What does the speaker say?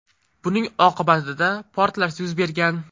Buning oqibatida portlash yuz bergan.